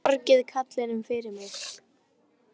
Kannski þið borgið karlinum fyrir mig.